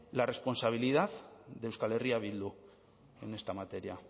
la responsabilidad de euskal herria bildu en esta materia